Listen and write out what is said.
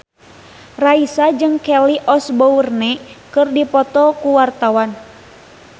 Raisa jeung Kelly Osbourne keur dipoto ku wartawan